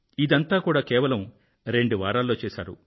ఇదంతా కూడా కేవలం రెండు వారాల్లో చేశారు